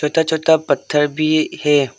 छोटा छोटा पत्थर भी है।